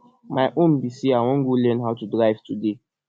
my own be say i wan go learn how to drive today